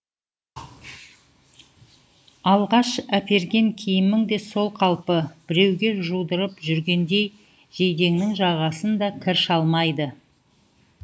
алғаш әперген киімің де сол қалпы біреуге жудырып жүргендей жейдеңнің жағасын да кір шалмайды